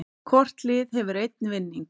Hvort lið hefur einn vinning